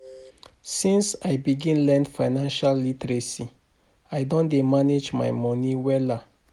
Since I begin learn financial literacy, I don dey manage my moni wella.